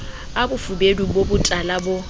a bofubedu bo botala bo